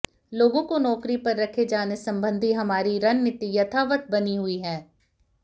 लोगों को नौकरी पर रखे जाने संबंधी हमारी रणनीति यथावत बनी हुई है